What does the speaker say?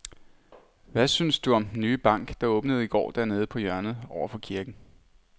Hvad synes du om den nye bank, der åbnede i går dernede på hjørnet over for kirken?